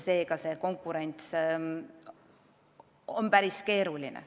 Seega see konkureerimine oleks päris keeruline.